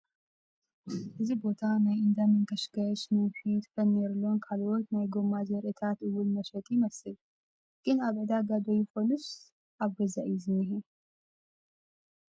እዚ ቦታ ናይ እንዳ መንከሽከሽ ፣ መንፊት፣ ፈርኔሎን ካልኦት ናይ ጎማ ዘርኢታት እውን መሸጢ ይመስል ፡ ግን ኣብ ዕዳጋ'ዶ ይኾንስ ኣብ ገዛ እዩ ዝንሄ ?